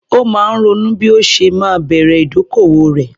Ó máa ń ronú bí ó ṣe máa bẹ̀rẹ̀ ìdókòwò rẹ̀.